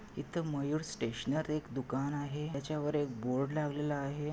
इथ मयूर स्टेशनर एक दुकान आहे. त्याच्या वर एक बोर्ड लवलेला आहे.